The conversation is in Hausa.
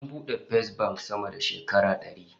An bude Fesbank sama da shekara dari